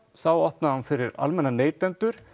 þá opnaði hún fyrir almenna neytendur